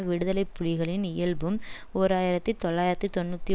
விடுதலை புலிகளின் இயல்பும் ஓர் ஆயிரத்தி தொள்ளாயிரத்தி தொன்னூற்றி